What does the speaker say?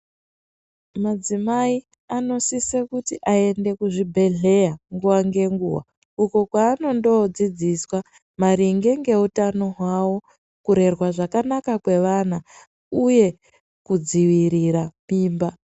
Madzimai anosisa kuti aende kuzvibhehleya nguwa ngenguwa uko kwanondodzidziswa maringe ngeutano hwawo kurerwa zvakanaka kwevana uye kudzivirira mimba.